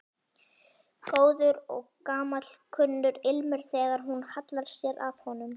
Góður og gamalkunnur ilmur þegar hún hallar sér að honum.